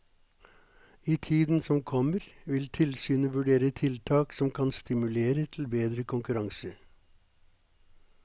I tiden som kommer, vil tilsynet vurdere tiltak som kan stimulere til bedre konkurranse.